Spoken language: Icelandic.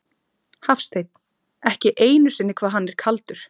Hafsteinn: Ekki einu sinni hvað hann er kaldur?